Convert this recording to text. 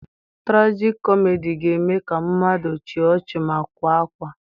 Tragicomedy ga-eme ka mmadụ chịa ọchị ma kwaa akwa.